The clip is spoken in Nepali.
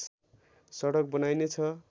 सडक बनाइने छ